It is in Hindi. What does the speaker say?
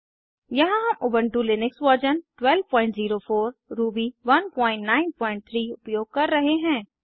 यहाँ हम उबंटु लिनक्स वर्जन 1204 रूबी 193 उपयोग कर रहे हैं